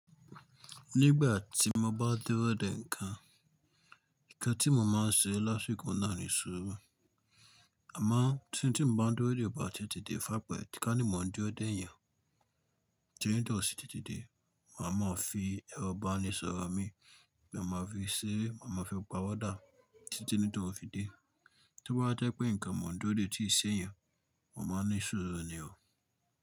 Nígbà tí mo bá dúró de ǹkan, ǹkan tí mo máa ń se lásìkò náà ni sùúrù. Àmáà tí tí n bá dúró dé ọba ti ẹ tí dé fakẹ́, tí kà ní mo ń dúró dé èèyàn tí n dọ̀ síi títí dé, màá máa fi ẹrọ bàálé sọ̀rọ̀ mi, màá máa fi ṣeré, màá máa fi páwọ̀ dà títí ní tòun fi dé. Tó bá jẹ́ pé ǹkan mo ń dúró dé tí kì ṣe èèyàn, mo máa ń ni sùúrù ni o.